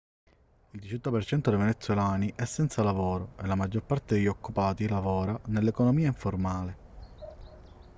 il 18% dei venezuelani è senza lavoro e la maggior parte degli occupati lavora nell'economia informale